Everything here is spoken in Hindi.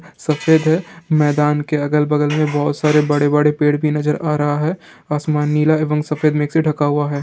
सफेद है मैदान के अगल बगल में बहुत सारे बड़े-बड़े पेड़ भी नजर आ रहा है आसमान नीला है वन सफेद मेघ से ढका हुआ है।